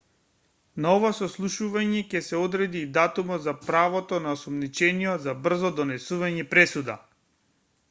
на ова сослушување ќе се одреди и датумот за правото на осомничениот за брзо донесување пресуда